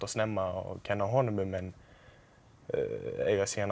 snemma og kenna honum um en eiga síðan